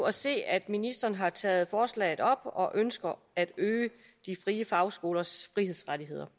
at se at ministeren har taget forslaget op og ønsker at øge de frie fagskolers frihedsrettigheder